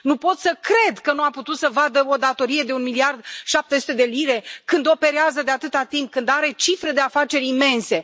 Nu pot să cred că nu a putut să vadă o datorie de un miliard șapte sute de lire, când operează de atâta timp, când are cifre de afaceri imense.